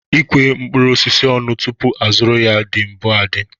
Ikwe mkpụrụ osisi ọnụ tupu a zụrụ ya dị bu adị